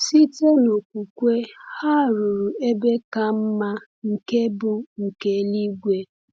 Site n’okwukwe, ha “ruru ebe ka mma, nke bụ nke eluigwe.”